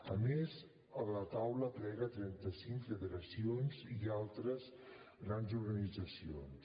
a més la taula aplega trenta cinc federacions i altres grans organitzacions